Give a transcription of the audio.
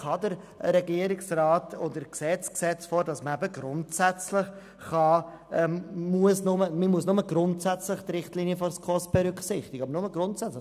Der Regierungsvorschlag sieht nun vor, dass man nur «grundsätzlich» die Richtlinien der SKOS berücksichtigen muss.